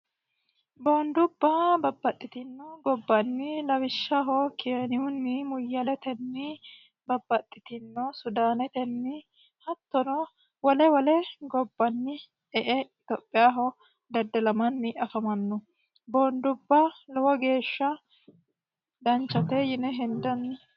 boondubba babbaxxitinno gobbanni lawishshaho kienihunni muyyaletenni babbaxxitino sudaanetenni hattono wole wole gobbanni etophiaho dadde lamanni afamannu boondubba lowo geeshsha danchate yine hindanni